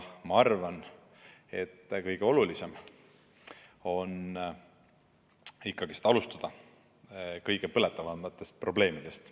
Ma arvan, et kõige olulisem on ikkagi alustada kõige põletavamatest probleemidest.